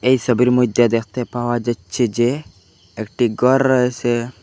এই সবির মইদ্যে দ্যাখতে পাওয়া যাচ্ছে যে একটি গড় রয়েসে।